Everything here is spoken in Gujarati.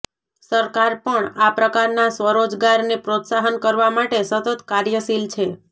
સરકાર પણ આ પ્રકારના સ્વરોજગારને પ્રોત્સાહન કરવા માટે સતત કાર્યશીલ છે